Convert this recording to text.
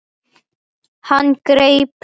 Hann greip um vélina.